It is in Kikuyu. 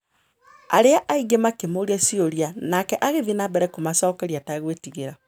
Arĩa angĩ makĩmũũria ciũria, nake agĩthiĩ na mbere kũmacokeria ategwĩtigĩra.